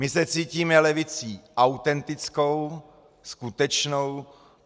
My se cítíme levicí autentickou, skutečnou.